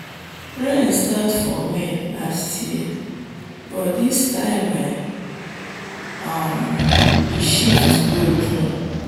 rain start for may last year but this time e um shift go june.